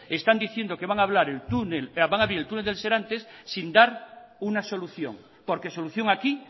están diciendo que van a abrir el túnel de serantes sin dar una solución porque solución aquí